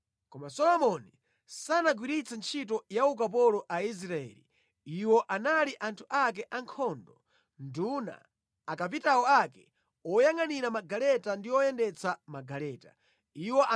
Koma Solomoni sanagwiritse ntchito ya ukapolo Aisraeli; Iwo anali anthu ake ankhondo, atsogoleri a ankhondo, olamulira magaleta ndi oyendetsa magaleta ake.